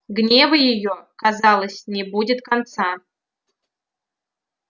гневу её казалось не будет конца